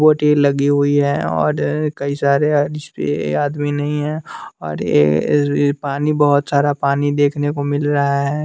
पौडे लगे हुए है और कई सारे जिसपे आदमी नहीं है और ये पानी बहोत सारा पानी देखने को मिल रहा है।